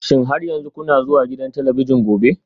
Shin har yanzu kuna zuwa gidan talabijin gobe?